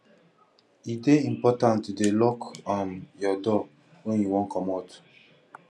e dey important to dey lock um your door wen you wan comot